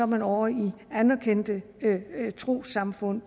man ovre i anerkendte trossamfund